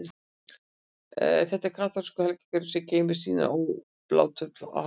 Þetta er kaþólskur helgigripur, sem geymir og sýnir obláturnar á altarinu.